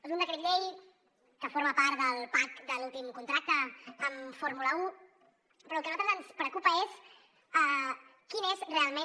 és un decret llei que forma part del pack de l’últim contracte amb fórmula un però el que a nosaltres ens preocupa és quin és realment